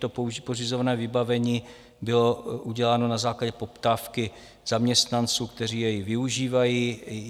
To pořizované vybavení bylo uděláno na základě poptávky zaměstnanců, kteří jej využívají.